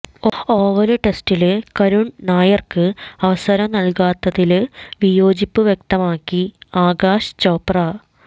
oval ടെസ്റ്റില് കരുണ് നായർക്ക് അവസരം നല്കാത്തതില് വിയോജിപ്പ് വ്യക്തമാക്കി ആകാശ് ചോപ്ര